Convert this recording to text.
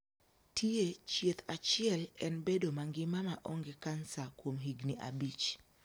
Tie chieth achiel en bedo mangima ma onge kansa kuom higni abich.